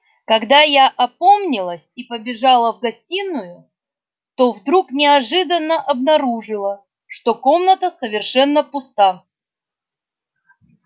когда я опомнилась и побежала в гостиную то вдруг неожиданно обнаружила что комната совершенно пуста